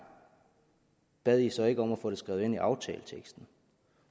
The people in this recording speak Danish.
bad i så ikke om at få det skrevet ind i aftaleteksten